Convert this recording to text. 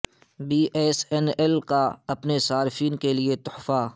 be S N L کا اپنے صارفین کے لئے تحفہ